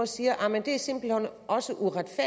siger at det simpelt hen også